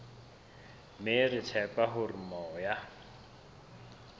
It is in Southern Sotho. mme re tshepa hore moya